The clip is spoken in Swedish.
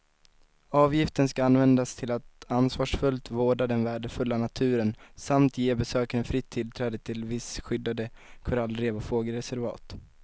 Avgiften ska användas till att ansvarsfullt vårda den värdefulla naturen samt ge besökaren fritt tillträde till vissa skyddade korallrev och fågelreservat.